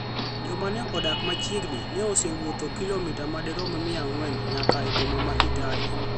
Joma ne odak machiegni ne osewuotho ​​kilomita madirom mia ang'wen nyaka e boma ma Kitale,